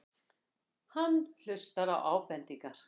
Hann hlustar á ábendingar.